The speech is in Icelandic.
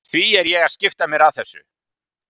Því er ég að skipta mér af þessu?